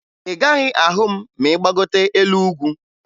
Ị gaghị ahụ m ma ị gbagote elu ugwu